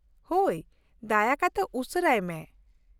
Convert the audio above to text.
ᱦᱳᱭ, ᱫᱟᱭᱟ ᱠᱟᱛᱮ ᱩᱥᱟᱹᱨᱟᱭ ᱢᱮ ᱾